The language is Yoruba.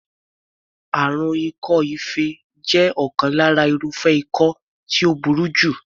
Àrùn ikọ́-ife jẹ́ ọ̀kan lára irúfẹ́ ikọ́ tí ó burú jù.